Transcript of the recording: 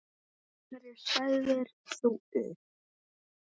Af hverju sagðir þú upp?